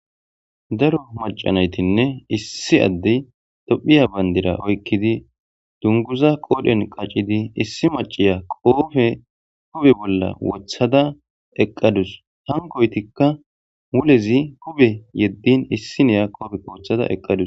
Daro macca nayitinne issi addeyi tophphya banddira oyikkidi dunguzza qodhdhen qaccidi issi macciya kobbe huphphe bolla woththadda eqqadus hankkoyitika muulezi huphphe yeddini issinya kobbe woththada eqqadus.